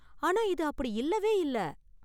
ஆனா, இது அப்படி இல்லவே இல்ல.